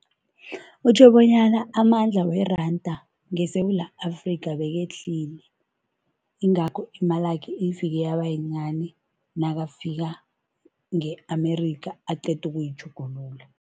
Kutjho bonyana amandla weranda ngeSewula Afrika bekehlile, yingakho imalakhe ifike yaba yincani nakafika nge-Amerikha aqeda ukuyitjhugulula.